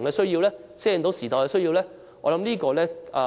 的需要呢？